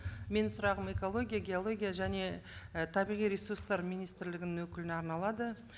менің сұрағым экология геология және і табиғи ресурстар министрлігінің өкіліне арналады